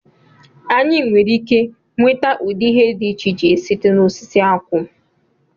Anyị nwere ike nweta ụdị ihe dị iche iche site na osisi akwụ